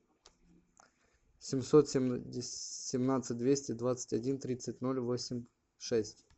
семьсот семнадцать двести двадцать один тридцать ноль восемь шесть